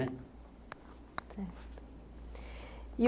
Certo